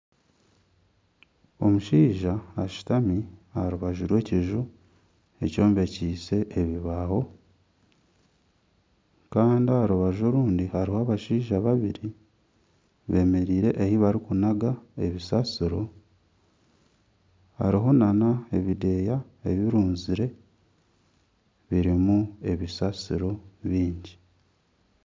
Omushaija ashutami aha rubaju rw'ekiju, ekyombekiise ebibaaho Kandi aha rubaju orundi hariho abashaija babiri bemereire ahu barikunaga ebisasiro hariho nana ebideeya ebirunzire birimu ebisasiro byingi.